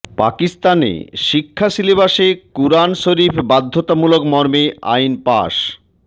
পাকিস্তানে শিক্ষা সিলেবাসে কুরআন শরীফ বাধ্যতামূলক মর্মে আইন পাশ